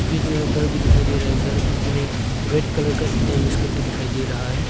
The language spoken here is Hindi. यह जो है घर भी दिखाई दे रहा है घर में जो है रेड कलर का ईटा यूज करके दिखाई दे रहा है।